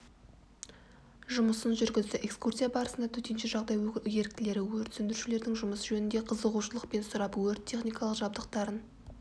жұмысын жүргізді экскурсия барысында төтенше жағдай еріктілері өрт сөндірушілердің жұмысы жөнінде қызығушылықпен сұрап өрт-техникалық жабдықтарын